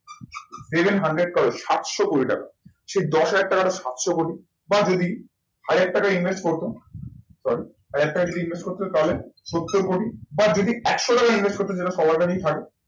Seven hundred crore সাতশো কোটি টাকা। সেই দশ হাজার টাকাটা সাতশো কোটি বা যদি হাজার টাকা invest করতো sorry হাজার টাকা যদি invest করতো তাহলে সত্তর কোটি বা যদি একশো টাকা invest করতো সেটা সবার কাছেই থাকে